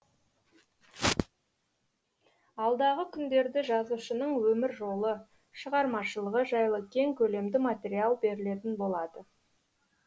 алдағы күндерді жазушының өмір жолы шығармашылығы жайлы кең көлемді материал берілетін болады